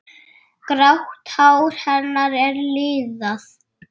Grátt hár hennar er liðað.